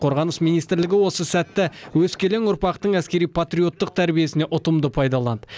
қорғаныс министрлігі осы сәтті өскелең ұрпақтың әскери патриоттық тәрбиесіне ұтымды пайдаланды